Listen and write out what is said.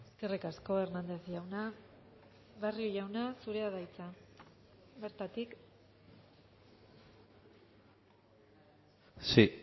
eskerrik asko hernández jauna barrio jauna zurea da hitza bertatik si